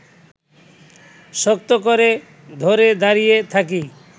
শক্ত করে ধরে দাঁড়িয়ে থাকি